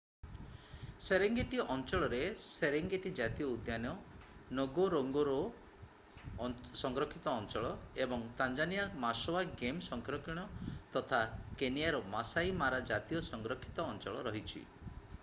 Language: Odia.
ସେରେଙ୍ଗେଟୀ ଅଞ୍ଚଳରେ ସେରେଙ୍ଗେଟୀ ଜାତୀୟ ଉଦ୍ୟାନ ନଗୋରୋଙ୍ଗୋରୋ ସଂରକ୍ଷିତ ଅଞ୍ଚଳ ଏବଂ ତାଞ୍ଜାନିଆର ମାସୱା ଗେମ୍ ସଂରକ୍ଷଣ ତଥା କେନିଆର ମାସାଇ ମାରା ଜାତୀୟ ସଂରକ୍ଷିତ ଅଞ୍ଚଳ ରହିଛି